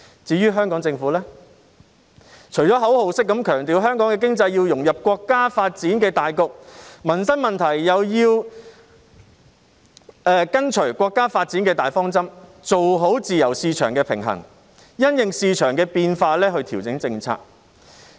至於香港政府，除了口號式強調香港的經濟要融入國家發展的大局外，民生問題又要跟隨國家發展的大方針，做好自由市場的平衡，因應市場的變化調整政策。